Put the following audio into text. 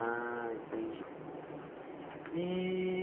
Ah, entendi. E